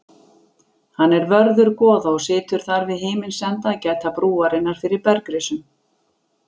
Hann er vörður goða og situr þar við himins enda að gæta brúarinnar fyrir bergrisum.